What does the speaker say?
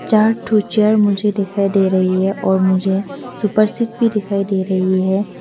चार ठो चेयर मुझे दिखाई दे रही है और मुझे सुपरसीट भी दिखाई दे रही है।